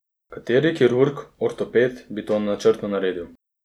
Kateri kirurg, ortoped bi to načrtno naredil?